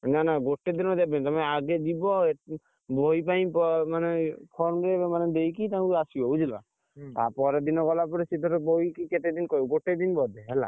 ନାନା ଗୁଟେ ଦିନରେ ଦେବେନି ତମେ ଆଗ ଯିବ, ବହି ପାଇଁ ମାନେ form ରେ ମାନେ ତାଙ୍କୁ ଦେଇକି ଆସିବ ବୁଝିଲ। ତାପର ଦିନ ଗଲା ପରେ ସିଏ ତାର ବହିକି କେତେ ଦିନ କହିବ ଗୋଟେ ଦିନ ବୋଧେ ହେଲା।